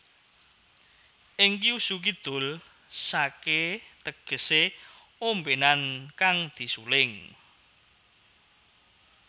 Ing Kyushu Kidul sake tegese ombenan kang disuling